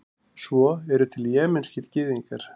svo eru til jemenskir gyðingar